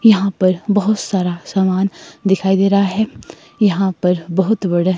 यहां पर बहोत सारा सामान दिखाई दे रहा है। यहां पर बहोत बड़ा--